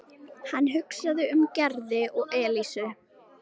Hann hugsaði um Gerði og Elísu.